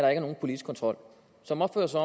er nogen politisk kontrol som opfører sig